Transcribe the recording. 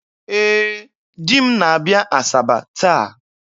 Ee, di m na-abịa Asaba taa